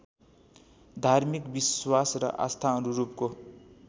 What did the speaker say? धार्मिक विश्वास र आस्थाअनुरूपको